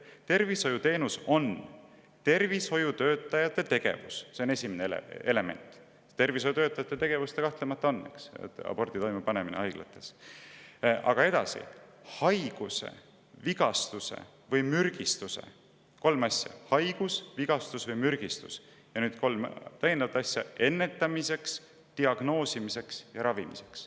Tervishoiuteenus on tervishoiutöötaja tegevus – see on esimene element, abordi toimepanemine haiglates tervishoiutöötajate tegevus kahtlemata on; aga edasi – haiguse, vigastuse või mürgistuse – kolm asja: haigus, vigastus või mürgistus; ja nüüd kolm täiendavat asja – ennetamiseks, diagnoosimiseks ja ravimiseks.